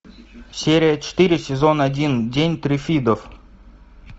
серия четыре сезон один день триффидов